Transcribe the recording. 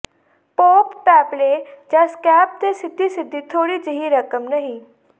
pop ਪੈਪਲੇ ਜਾਂ scab ਤੇ ਸਿੱਧੀ ਸਿੱਧੀ ਥੋੜ੍ਹੀ ਜਿਹੀ ਰਕਮ ਨਹੀਂ